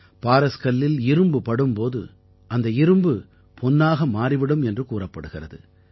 பாரஸ் கல்லில் இரும்பு படும் போது அந்த இரும்பு பொன்னாக மாறி விடும் என்று கூறப்படுகிறது